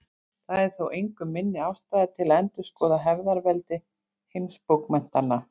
Það er þó engu minni ástæða til að endurskoða hefðarveldi heimsbókmenntanna.